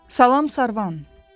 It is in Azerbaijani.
Salam Sarvan.